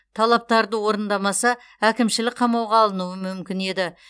талаптарды орындамаса әкімшілік қамауға алынуы мүмкін еді